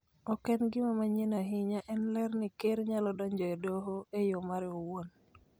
Ok en gima manyien ahinya, en ler ni Ker nyalo donjo e Doho e yo mare owuon